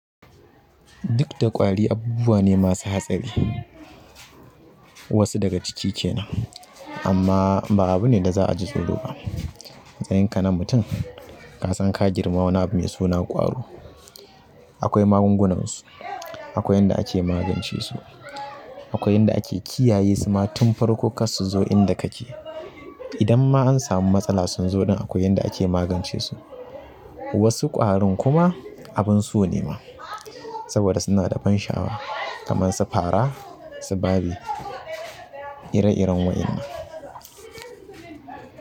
Duk da ƙwari abubuwa ne masu hatsari. Wasu daga ciki kenan amma ba abu ne da za a ji tsoro ba. A matsayin ka na mutum, ka san ka girma wani abu mai suna ƙwaro. Akwai magungunansu, akwai yanda ake magance su, akwai yanda ake kiyaye su ma tun farko kar su zo inda kake. Idan ma an samu matsala sun zo ɗin akwai yanda ake magance su. Wasu ƙwarin kuma abin so ne ma saboda suna da ban sha'awa kamar su fara, su babw ire-iren waƴannan.